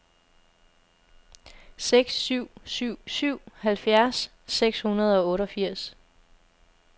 seks syv syv syv halvfjerds seks hundrede og otteogfirs